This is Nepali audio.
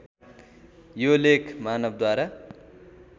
यो लेख मानवद्वारा